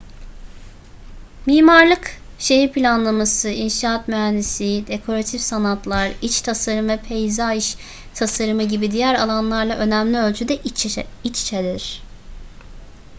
mimarlık şehir planlaması inşaat mühendisliği dekoratif sanatlar iç tasarım ve peyzaj tasarımı gibi diğer alanlarla önemli ölçüde iç içedir